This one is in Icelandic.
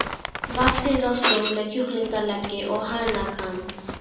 vaxinn rostung með kjúklingaleggi og hanakamb.